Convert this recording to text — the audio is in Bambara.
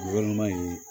Walima